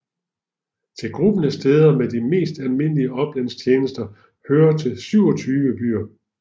Til gruppen af steder med de mest almindelige oplandstjenester hørte 27 byer